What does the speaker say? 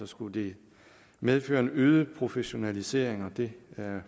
skulle det medføre en øget professionalisering og det